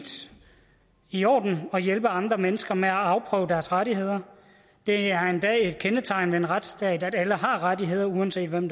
i orden at hjælpe andre mennesker med at afprøve deres rettigheder det er endda et kendetegn ved en retsstat at alle har rettigheder uanset hvem